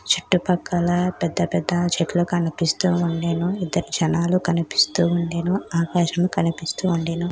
పిల్లలు పార్టీ టోపీలు ధరించారు. వేదికపై ఆకుపచ్చ తెలుపు మరియు ఎరుపు రంగు బుడగలు అలాగే క్రిస్మస్ చెట్లు ఉన్నాయి.